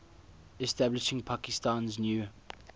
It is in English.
establishing pakistan's new